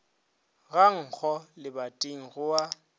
ga nkgo lebating go a